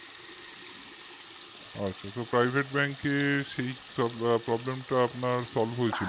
আচ্ছা তো private bank এ সেই সব problem টা আপনার solve হয়েছিল